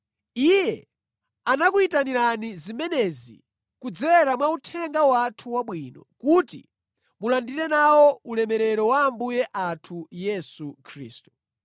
Iye anakuyitanirani zimenezi kudzera mwa uthenga wathu wabwino, kuti mulandire nawo ulemerero wa Ambuye athu Yesu Khristu.